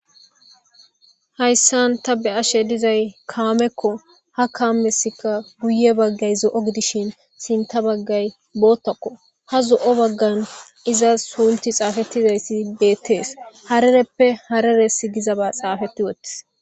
Hayssan ta be ashe dizay kaamekko ha kaamesika guye baggay zo'o gidishin sinta baggay boottakko ha zo'o baggan iza sunti xaafettizayssi beettees harereppe hareres gizaba xaafeti wottis